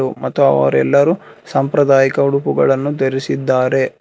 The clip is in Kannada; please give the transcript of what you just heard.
ಮತ್ತು ಅವರೆಲ್ಲರೂ ಸಾಂಪ್ರದಾಯಿಕ ಉಡುಪುಗಳನ್ನು ಧರಿಸಿದ್ದಾರೆ.